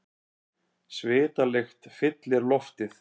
Svitalykt fyllir loftið.